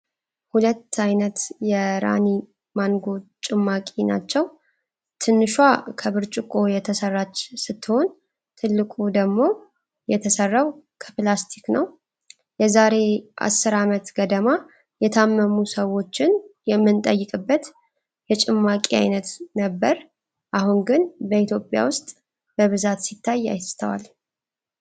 ሁለት አይነት የራኒ ማንጎ ጭማቂ ናቸው። ትንሹዋ ከ ብርጭቆ የተሰራች ስትሆን ፤ ትልቁ ደግሞ የተሰራው ከፕላስትክ ነው። የ ዛሬ አስር አመት ገደማ የታመሙ ሰዎችን የምንጠይቅበት የጭማቂ አይነት ነበር። አሁን ግን በኢትዮጵያ ውስጥ በብዛት ሲታይ አይስተዋልም።